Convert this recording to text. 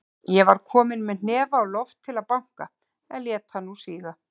Ég var kominn með hnefann á loft til að banka, en lét hann nú síga.